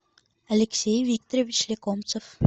алексей викторович лекомцев